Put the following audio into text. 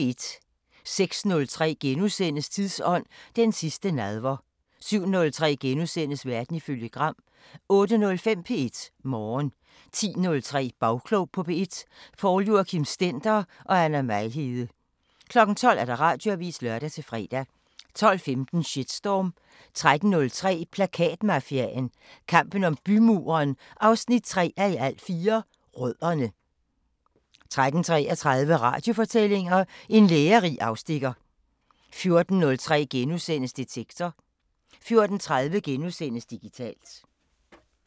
06:03: Tidsånd: Den sidste nadver * 07:03: Verden ifølge Gram * 08:05: P1 Morgen 10:03: Bagklog på P1: Poul Joachim Stender og Anna Mejlhede 12:00: Radioavisen (lør-fre) 12:15: Shitstorm 13:03: Plakatmafiaen – kampen om bymuren 3:4 – Rødderne 13:33: Radiofortællinger: En lærerig afstikker 14:03: Detektor * 14:30: Digitalt *